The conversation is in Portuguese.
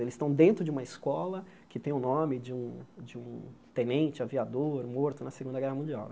Eles estão dentro de uma escola que tem o nome de um de um tenente aviador morto na Segunda Guerra Mundial.